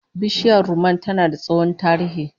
Bishiyar rumman tana da tsohon tarihi